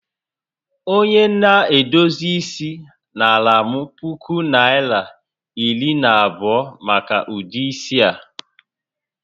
Onye na-edozi isi naara m puku Naịra ,iri na abụọ maka ụdị isi a